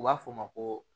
U b'a fɔ o ma ko